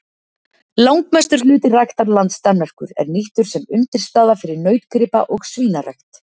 Langmestur hluti ræktarlands Danmerkur er nýttur sem undirstaða fyrir nautgripa- og svínarækt.